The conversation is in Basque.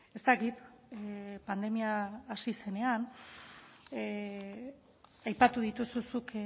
ez dakit pandemia hasi zenean aipatu dituzu zuk